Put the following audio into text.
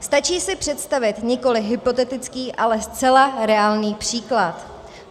Stačí si představit nikoli hypotetický, ale zcela reálný příklad.